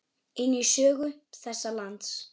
inn í sögu þessa lands.